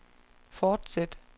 fortsæt